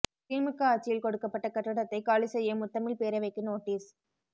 திமுக ஆட்சியில் கொடுக்கப்பட்ட கட்டடத்தை காலி செய்ய முத்தமிழ்ப் பேரவைக்கு நோட்டீஸ்